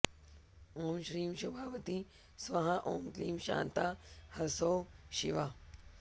ॐ श्रीं शोभावती स्वाहा ॐ क्लीं शान्ता ह्सौः शिवा